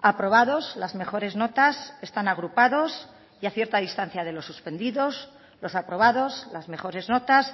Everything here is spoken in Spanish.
aprobados las mejores notas están agrupados y a cierta distancia de los suspendidos los aprobados las mejores notas